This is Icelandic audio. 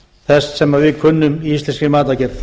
þess sem við kunnum í íslenskri matargerð